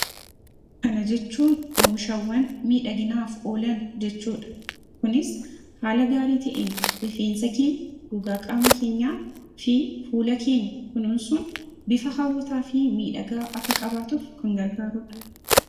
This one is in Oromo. Kana jechuun oomishaawwan miidhaginaaf oolan jechuudha. Kunis haala gaarii ta'een rifeensa keenya gogaa qaama keenyaafi fuula keenya kunuunsuun bifa hawwataafi miidhagaa akka qabaatuuf kan gargaarudha.